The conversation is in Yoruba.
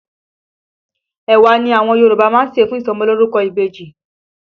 Ẹ̀wà ni àwọn Yòrùbá máa ń ṣẹ̀ fún ìsọmọlórúkọ ìbejì